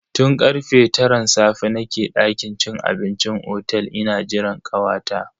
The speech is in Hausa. Tun karfe taran safe nake dakin cin abincin otel ina jiran kawata.